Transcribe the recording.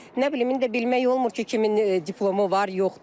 Nə bilim, indi bilmək olmur ki, kimin diplomu var, yoxdur.